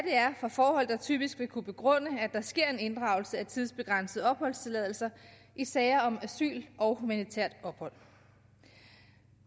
er for forhold der typisk vil kunne begrunde at der sker en inddragelse af tidsbegrænsede opholdstilladelser i sager om asyl og humanitært ophold